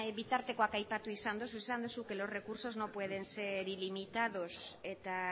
bitartekoak aipatu izan dituzu esan duzu que los recursos no pueden ser ilimitados